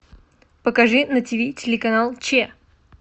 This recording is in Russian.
покажи на тиви телеканал че